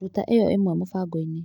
Ruta ĩyo ĩmwe mũbango-inĩ .